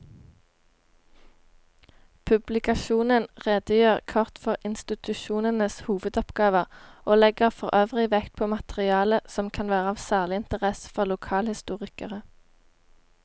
Publikasjonen redegjør kort for institusjonenes hovedoppgaver og legger forøvrig vekt på materiale som kan være av særlig interesse for lokalhistorikere.